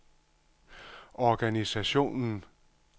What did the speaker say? organisationen